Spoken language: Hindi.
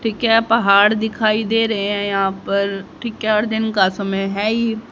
ठीक है पहाड़ दिखाई दे रहे हैं यहां पर ठीक है और दिन का समय है ही --